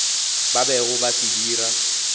ba bego ba se dira